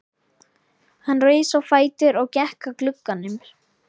Hann reis á fætur og gekk að glugganum.